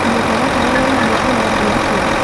mũtaratara wa irio ũrathiĩ atĩa